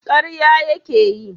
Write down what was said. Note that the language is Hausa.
karya ya ke yi?